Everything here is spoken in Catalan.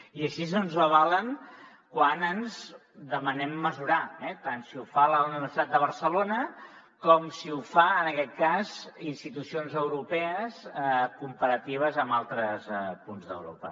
i així ens ho avalen quan demanem mesurar nos eh tant si ho fa la universitat de barcelona com si ho fan en aquest cas institucions europees en comparatives amb altres punts d’europa